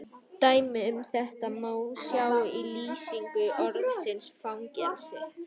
Dæmi um þetta má sjá í lýsingu orðsins fangelsi: